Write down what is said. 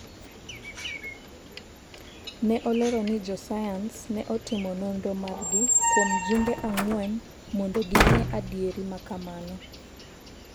ne olero ni jo sayans ne otimo nonro margi kuom jumbe ang'wen mondo ging'e adieri makamano